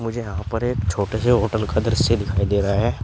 मुझे यहां पर एक छोटे से होटल का दृश्य दिखाई दे रहा है।